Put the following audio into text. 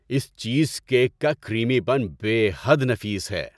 اس چیز کیک کا کریمی پن بے حد نفیس ہے۔